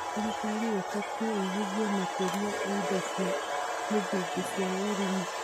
Thirikari ibatie ĩgithie makĩria harĩ indo cia mũthingi cia ũrĩmi.